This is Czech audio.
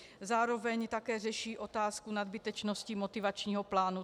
Zároveň také řeší otázku nadbytečnosti motivačního plánu.